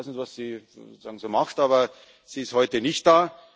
da. Ich weiß nicht, was Sie so macht, aber sie ist heute nicht